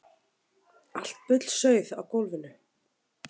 Allt bullsauð á gólfinu.